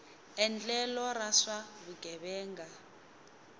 endlelo ra swa vugevenga xi